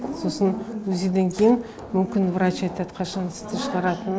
сосын узиден кейін мүмкін врач айтады қашан сізді шығаратын